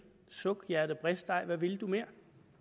suk hjerte brist ej hvad vil du mere